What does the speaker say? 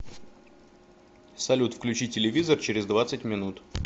салют включи телевизор через двадцать минут